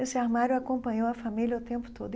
Esse armário acompanhou a família o tempo todo.